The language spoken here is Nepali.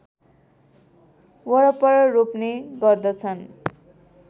वरपर रोप्ने गर्दछन्